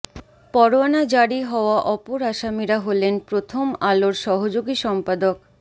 পরোয়ানা জারি হওয়া অপর আসামিরা হলেন প্রথম আলোর সহযোগী সম্পাদক